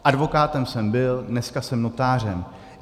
Advokátem jsem byl, dneska jsem notářem.